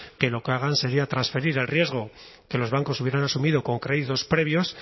que lo que hagan sería transferir el riesgo que los bancos hubieran asumido con créditos previos